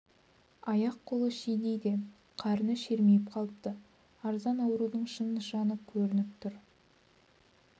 аяқ-қолы шидей де қарны шермиіп қалыпты аран аурудың шын нышаны көрініп тұр